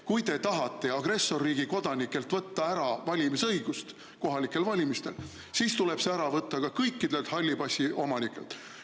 Kui te tahate agressorriigi kodanikelt võtta ära valimisõigust kohalikel valimistel, siis tuleb see ära võtta ka kõikidelt halli passi omanikelt.